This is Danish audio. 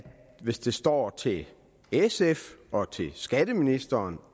hvis det står til sf og skatteministeren